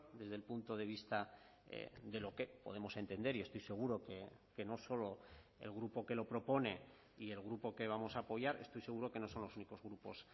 desde el punto de vista de lo que podemos entender y estoy seguro que no solo el grupo que lo propone y el grupo que vamos a apoyar estoy seguro que no son los únicos grupos